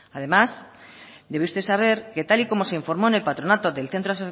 además debe usted saber que tal y como se informó en el patronato del centro